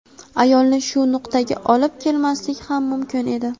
Ayolni shu nuqtaga olib kelmaslik ham mumkin edi.